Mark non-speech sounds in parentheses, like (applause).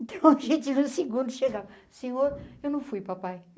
Então (laughs) a gente tinha um segundo chegava... Senhor, eu não fui, papai.